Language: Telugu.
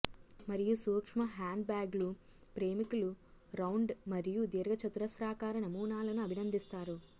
మరియు సూక్ష్మ హ్యాండ్బ్యాగులు ప్రేమికులు రౌండ్ మరియు దీర్ఘచతురస్రాకార నమూనాలను అభినందిస్తారు